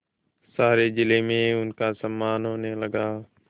सारे जिले में उनका सम्मान होने लगा